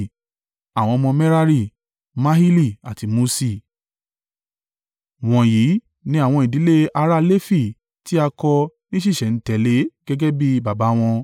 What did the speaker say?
Àwọn ọmọ Merari: Mahili àti Muṣi. Wọ̀nyí ni àwọn ìdílé ará Lefi tí a kọ ní ṣísẹ̀-n-tẹ̀lé gẹ́gẹ́ bí baba wọn.